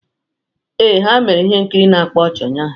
Ee, ha mere ihe nkiri na-akpa ọchị ụnyaahụ.